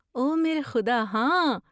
او میرے خدا، ہاں!